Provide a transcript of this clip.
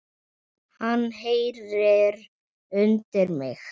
Hann heyrir undir mig.